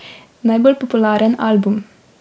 Najbolj popularen album?